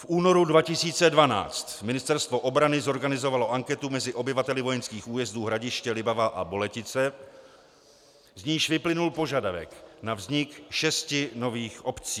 V únoru 2012 Ministerstvo obrany zorganizovalo anketu mezi obyvateli vojenských újezdů Hradiště, Libavá a Boletice, z níž vyplynul požadavek na vznik šesti nových obcí.